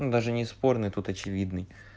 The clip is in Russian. даже не спорный тут очевидный